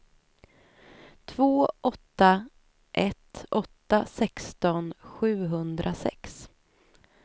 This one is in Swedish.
två åtta ett åtta sexton sjuhundrasex